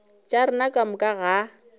tša rena ka moka ga